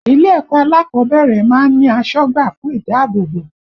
Ilé ẹ̀kọ́ alákọ̀ọ́bẹ̀rẹ̀ máa ń ní asọ́gbà fún ìdáàbòbò